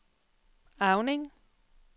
Auning